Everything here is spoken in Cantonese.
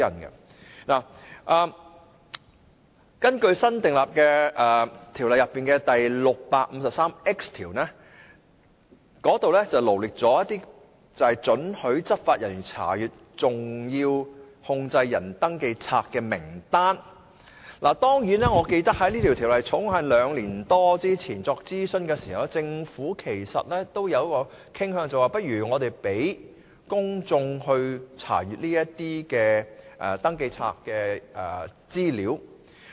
《條例草案》新訂的第 653X 條列出了獲准查閱登記冊的執法人員名單，但據我記憶所及，當《條例草案》於兩年多前進行諮詢的時候，政府是傾向讓公眾查閱登記冊的資料的。